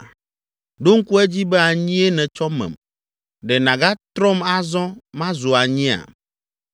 Ɖo ŋku edzi be anyie nètsɔ mem. Ɖe nàgatrɔm azɔ mazu anyia?